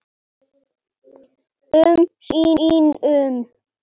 um sínum.